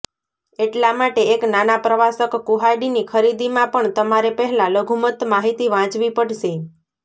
એટલા માટે એક નાના પ્રવાસક કુહાડીની ખરીદીમાં પણ તમારે પહેલા લઘુત્તમ માહિતી વાંચવી પડશે